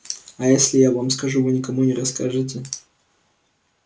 а если я вам скажу вы никому не расскажете